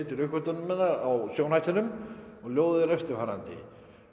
til uppgötvunarinnar á og ljóðið er eftirfarandi